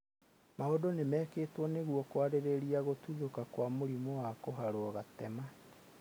Maũndũ nĩ mekĩtwo nĩguo kwarĩrĩrio gũtuthũka kwa mũrimũ wa kũharwo gatema.